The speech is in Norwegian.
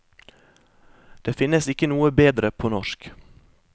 Det finnes ikke noe bedre på norsk.